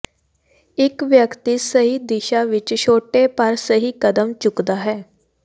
ਇੱਕ ਵਿਅਕਤੀ ਸਹੀ ਦਿਸ਼ਾ ਵਿੱਚ ਛੋਟੇ ਪਰ ਸਹੀ ਕਦਮ ਚੁੱਕਦਾ ਹੈ